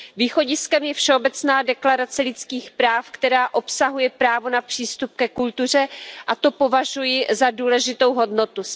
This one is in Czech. Východiskem je Všeobecná deklarace lidských práv, která obsahuje právo na přístup ke kultuře, a to považuji za důležitou hodnotu.